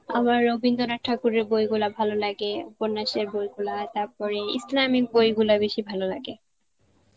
আমার রবীন্দ্রনাথ ঠাকুরের বইগুলা ভালো লাগে, উপন্যাসের বইগুলা তারপরে ইসলামিক বইগুলা বেশি ভালো লাগে.